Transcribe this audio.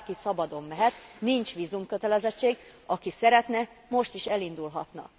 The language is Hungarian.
Bárki szabadon mehet, nincs vízumkötelezettség, aki szeretne, most is elindulhatna.